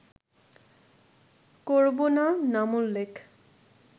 করবো না নামোল্লেখ